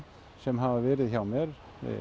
sem hafa verið hjá mér